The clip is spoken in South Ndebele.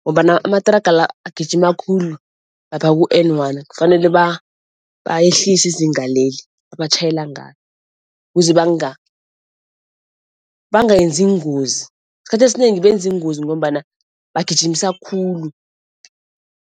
ngombana amathraga la agijima khulu lapha ku-N one kufanele bayehlise izinga leli abatjhayela ngalo ukuze bangayenzi iingozi. Esikhathini esinengi benza iingozi ngombana bagijimisa khulu.